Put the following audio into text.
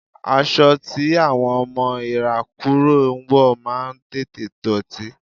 Aṣọ tí àwọn ọmọ ìrákòrò ń wọ̀ máa ń tètè dọ̀tí.